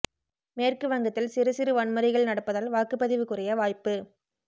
மேற்கு வங்கத்தில் சிறு சிறு வன்முறைகள் நடப்பதால் வாக்குப்பதிவு குறைய வாய்ப்பு